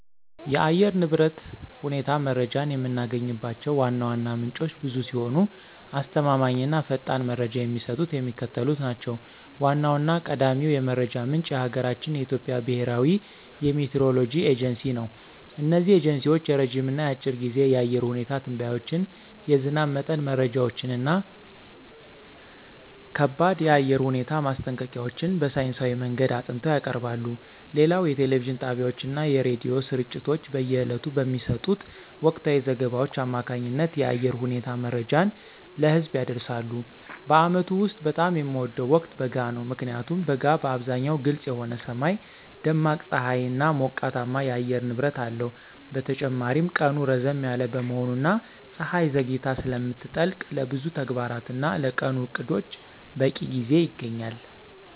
የአየር ንብረት ሁኔታ መረጃን የምናገኝባቸው ዋና ዋና ምንጮች ብዙ ሲሆኑ፣ አስተማማኝ እና ፈጣን መረጃ የሚሰጡት የሚከተሉት ናቸው ዋናውና ቀዳሚው የመረጃ ምንጭ የሀገራችን የኢትዮጵያ ብሔራዊ የሚቲዎሮሎጂ ኤጀንሲ ነው። እነዚህ ኤጀንሲዎች የረጅም እና የአጭር ጊዜ የአየር ሁኔታ ትንበያዎችን፣ የዝናብ መጠን መረጃዎችን እና ከባድ የአየር ሁኔታ ማስጠንቀቂያዎችን በሳይንሳዊ መንገድ አጥንተው ያቀርባሉ። ሌላው የቴሌቪዥን ጣቢያዎችና የሬዲዮ ስርጭቶች በየዕለቱ በሚሰጡት ወቅታዊ ዘገባዎች አማካኝነት የአየር ሁኔታ መረጃን ለህዝብ ያደርሳሉ። በዓመቱ ውስጥ በጣም የምወደው ወቅት በጋ ነው። ምክንያቱም በጋ በአብዛኛው ግልጽ የሆነ ሰማይ፣ ደማቅ ፀሐይና ሞቃታማ የአየር ንብረት አለው። በተጨማሪም ቀኑ ረዘም ያለ በመሆኑና ፀሐይ ዘግይታ ስለምትጠልቅ፣ ለብዙ ተግባራትና ለቀኑ ዕቅዶች በቂ ጊዜ ይገኛል።